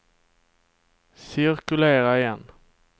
cirkulera igen